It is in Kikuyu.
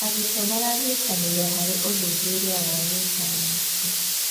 Arutwo maranyitanĩra harĩ ũthuthuria wa gĩcayanci.